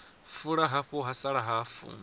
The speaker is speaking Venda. fula hafu ha sala hafu